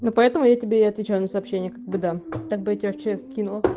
ну поэтому я тебе и отвечаю на сообщения как бы так бя я тебе в чс кинула